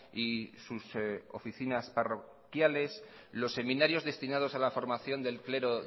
y sus oficinas parroquiales los seminarios destinados a la formación del clero